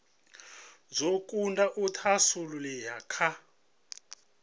dzo kunda u thasululea kha